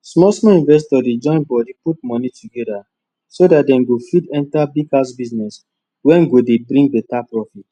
small small investors dey join bodi put moni togeda so that dem go fit enter big house business wey go dey bring beta profit